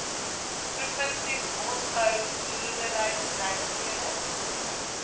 provinsies bosbou boerderybedrywighede